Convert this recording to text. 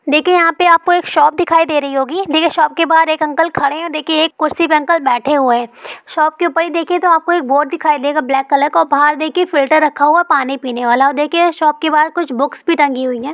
देखिये यहाँ पे आपको एक शॉप दिखाई दे रही है देखिये शॉप के बाहर एक खड़े हैं और कुर्सी पर बैठे हुए हैं शॉप के ऊपर तो देखिये आपको एक बोर्ड देगा ब्लॉक कलर का और बाहर देखिये एक फिल्टर रखा होगा पानी पीने वाला देखिये शॉप के बहार कुछ बुक्स भी टंगी हुई हैं।